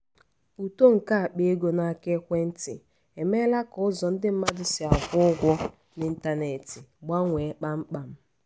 uto nke akpa ego n’aka ekwentị emeela ka ụzọ ndị mmadụ si akwụ ụgwọ n'ịntanetị gbanwee kpamkpam.